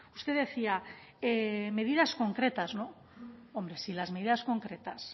usted decía medidas concretas no hombre si las medidas concretas